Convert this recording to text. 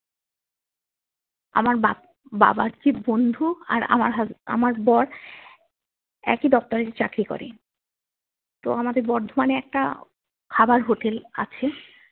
আমার বা বাবার যে বন্ধু আর আমার হ্যাশ আমার বর একই দপ্তরে চাকরি করে তো আমাদের বর্ধমানে একটা খাবার হোটেল আছে